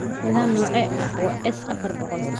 Nidaam noocee ah waa S-afar boqool?